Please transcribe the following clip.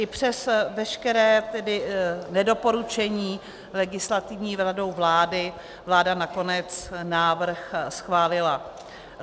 I přes veškeré tedy nedoporučení Legislativní radou vlády vláda nakonec návrh schválila.